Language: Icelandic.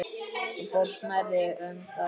Þú fórst nærri um það.